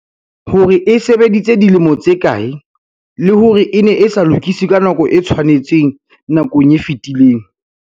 hore e se e sebeditse dilemo tse kae, le hore e ne e sa lokiswe ka nako e tshwanetseng nakong e fetileng.